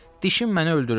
Dişim məni öldürür.